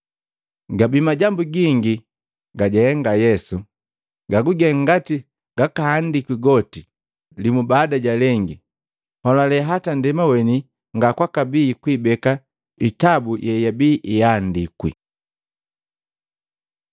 Gabii majambo gingi gajahenga Yesu. Gaguge ngati gakahandikwi goti, limu baada ja lengi, nholale hata ndema weni ngakwakabii kwiibeka itabu yeyabii iyandikwi.